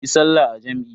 Yi sallah a jam'i.